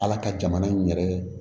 Ala ka jamana in yɛrɛ